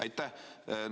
Aitäh!